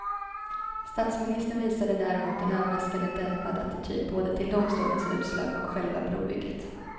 Statsministern visade däremot en överraskande dämpad attityd, både till domstolens utslag och själva brobygget.